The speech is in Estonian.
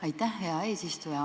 Aitäh, hea eesistuja!